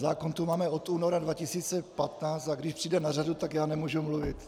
Zákon tu máme od února 2015 a když přijde na řadu, tak já nemůžu mluvit.